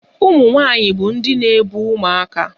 Ụmụ nwanyị bụ ndị na-ebu ụmụaka